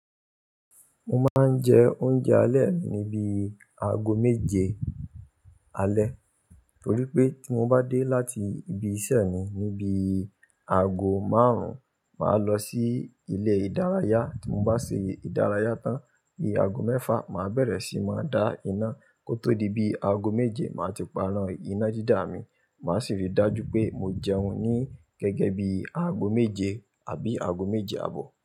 Mo máa ń jẹ oúnjẹ alẹ́ mi ní bi aago méje alẹ́, torí pé tí mo bá dé láti ibi iṣẹ́ mi ní bi aago márùn-ún, màá lọ sí ilé ìdárayá. Tí mo bá ṣe ìdárayá tán ní aago mẹ́fà, màá bẹ̀rẹ̀ sí máa dá iná kó tó di bí aago méje, màá ti pana iná dida mi. Màá sì rí i dájú pé mo jẹun ní gẹ́gẹ́ bí aago méje àbí aago méje àbọ̀.